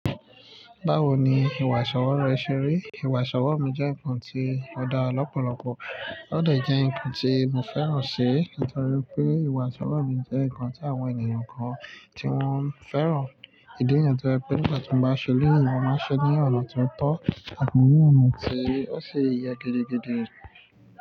Báwo ni ìwà ìṣọwọ́ rẹ ṣe rí? Ìwà ìṣọwọ́ mi jẹ́ nǹkan tí ó dá lọ́pọ̀lọpọ̀, ó de jẹ́ nǹkan tí mo fẹ́ràn ṣẹ, nítorí pé ìwà ìṣọwọ́ mi jẹ́ nǹkan tí àwọn ènìyàn kan tí wọ́n fẹ́ràn. Ìdí nìyẹn tó jẹ́ pé nígbà tí mo bá ṣẹlẹ̀, ìwọ máa ṣẹ ní ọ̀nà tí ó tọ́ àti ní ọ̀nà tí ó ṣe ye gidi gidi.